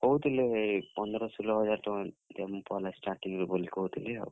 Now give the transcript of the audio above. କହୁଥିଲେ ପନ୍ଦର, ସୁଲ୍ ହ ହଜାର୍ ଟଙ୍କା ଦେମୁ ପହେଲା starting ରୁ ବଲି କହୁଥିଲେ ଆଉ।